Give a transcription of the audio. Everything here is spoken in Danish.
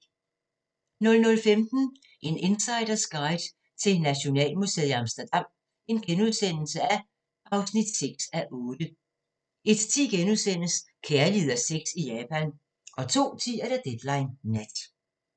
00:15: En insiders guide til Nationalmuseet i Amsterdam (6:8)* 01:10: Kærlighed og sex i Japan * 02:10: Deadline Nat